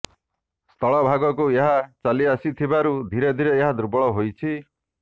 ସ୍ଥଳଭାଗକୁ ଏହା ଚାଲିଆସିଥିବାରୁ ଧୀରେ ଧୀରେ ଏହା ଦୁର୍ବଳ ହୋଇଛି